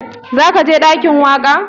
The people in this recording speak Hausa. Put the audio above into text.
Za ka je ɗakin waƙa?